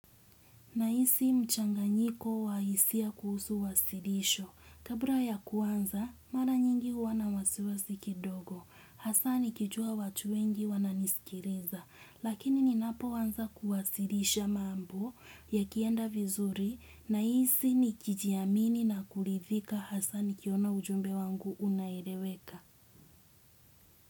Nahisi mchanganyiko wa hisia kuhusu wasilisho. Kabla ya kuanza, mara nyingi huwa na wasiwasi kidogo. Hasa nikijua watu wengi wananisikiliza. Lakini ninapoanza kuwasilisha mambo yakienda vizuri. Nahisi nikijiamini na kuridhika hasa nikiona ujumbe wangu unaeleweka.